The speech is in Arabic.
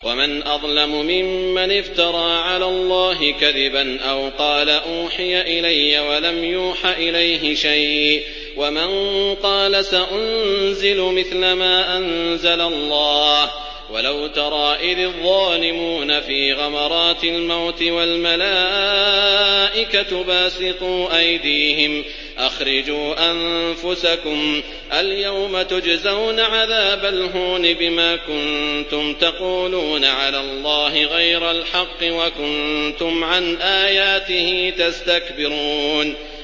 وَمَنْ أَظْلَمُ مِمَّنِ افْتَرَىٰ عَلَى اللَّهِ كَذِبًا أَوْ قَالَ أُوحِيَ إِلَيَّ وَلَمْ يُوحَ إِلَيْهِ شَيْءٌ وَمَن قَالَ سَأُنزِلُ مِثْلَ مَا أَنزَلَ اللَّهُ ۗ وَلَوْ تَرَىٰ إِذِ الظَّالِمُونَ فِي غَمَرَاتِ الْمَوْتِ وَالْمَلَائِكَةُ بَاسِطُو أَيْدِيهِمْ أَخْرِجُوا أَنفُسَكُمُ ۖ الْيَوْمَ تُجْزَوْنَ عَذَابَ الْهُونِ بِمَا كُنتُمْ تَقُولُونَ عَلَى اللَّهِ غَيْرَ الْحَقِّ وَكُنتُمْ عَنْ آيَاتِهِ تَسْتَكْبِرُونَ